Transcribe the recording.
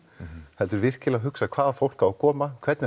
heldur virkilega hugsa hvaða fólk á að koma hvernig